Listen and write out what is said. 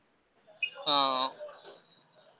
ହଁ।